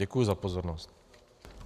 Děkuji za pozornost.